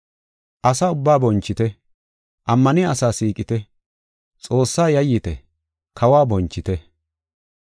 Asa ubbaa bonchite; ammaniya asaa siiqite; Xoossaa yayyite; kawo bonchite.